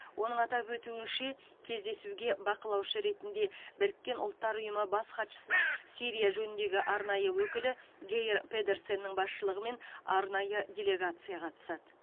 оның атап өтуінше кездесуге бақылаушы ретінде біріккен ұлттар ұйымының бас хатшысының сирия жөніндегі арнайы өкілі гейр педерсеннің басшылығымен арнайы делегация қатысады